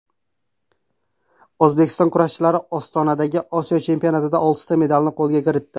O‘zbek kurashchilari Ostonadagi Osiyo chempionatida oltita medalni qo‘lga kiritdi.